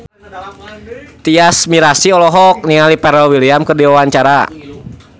Tyas Mirasih olohok ningali Pharrell Williams keur diwawancara